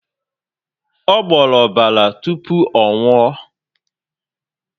Ọ gboro ọbara tupu ọ nwuo